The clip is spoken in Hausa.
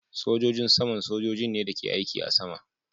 Sogojin saman sojojin ne da ke aiki a sama